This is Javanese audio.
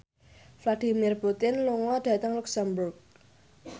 Vladimir Putin lunga dhateng luxemburg